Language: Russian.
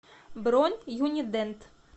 бронь юнидент